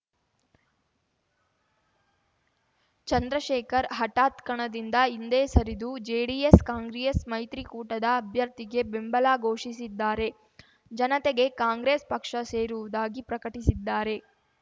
ಚಂದ್ರಶೇಖರ್‌ ಹಠಾತ್‌ ಕಣದಿಂದ ಹಿಂದೆ ಸರಿದು ಜೆಡಿಎಸ್‌ಕಾಂಗ್ರೆಸ್‌ ಮೈತ್ರಿಕೂಟದ ಅಭ್ಯರ್ಥಿಗೆ ಬೆಂಬಲ ಘೋಷಿಸಿದ್ದಾರೆ ಜನತೆಗೆ ಕಾಂಗ್ರೆಸ್‌ ಪಕ್ಷ ಸೇರುವುದಾಗಿ ಪ್ರಕಟಿಸಿದ್ದಾರೆ